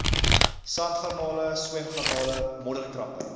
sandgarnale swemgarnale modderkrappe